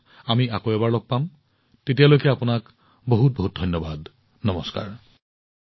অহা মাহত আমি আকৌ এবাৰ লগ পাম তেতিয়ালৈ আপোনালোকক অশেষ ধন্যবাদ নমস্কাৰ